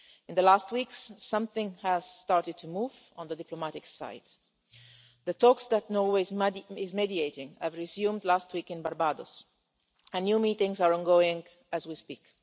In the last weeks, something has started to move on the diplomatic side. The talks that Norway is mediating resumed last week in Barbados, and new meetings are ongoing as we speak.